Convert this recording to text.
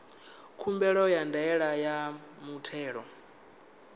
khumbelo ya ndaela ya muthelo